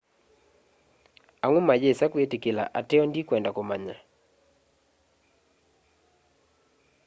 amwe mayĩsa kwĩtĩkĩla ateo ndĩkwenda kũmanya